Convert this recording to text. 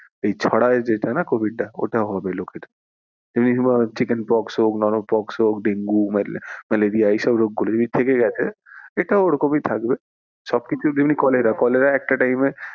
এই ছড়ায় না যেটা covid টা ওটা হবে chicken pox হোক বা normal pox হোক বা dengue, malaria এইসব রোগ গুলো যেমনি থেকে যাচ্ছে এটাও ওইরকমই থাকবে সব কিছু যেমনি কলেরা, কলেরা একটা time এ,